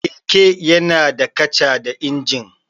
Keke yana da kaca da injin.